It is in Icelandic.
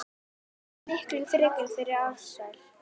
Miklu frekar fyrir Ársæl.